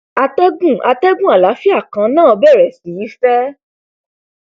atẹgùn atẹgùn àlàáfíà kan náà bẹrẹ sí í fẹ